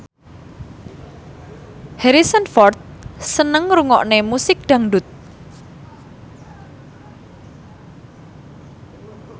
Harrison Ford seneng ngrungokne musik dangdut